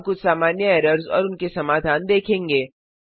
अब हम कुछ सामान्य एरर्स और उनके समाधान देखेंगे